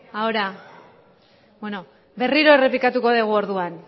ahora berriro errepikatuko dugu orduan